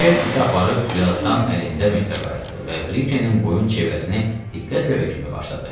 Ken iti aparıb, birazdan əlində metrlə qayıtdı və Brikenin boyun çevrəsini diqqətlə ölçməyə başladı.